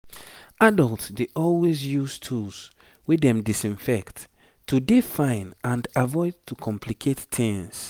adults dey always use tools wey dem disinfect to dey fine and avoid to complicate tings